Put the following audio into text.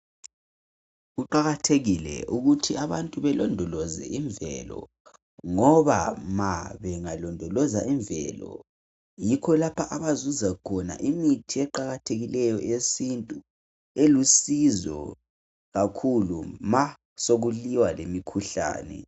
Kuqathekile ukuthi abantu balondoloze imvelo ngoba ma bengalondoloza , yikho lapha abazuza khona imithi eqakathekileyo eyesintu elusizo kakhulu ma sokuliwa lemikhuhlane